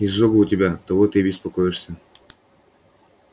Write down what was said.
изжога у тебя оттого ты и беспокоишься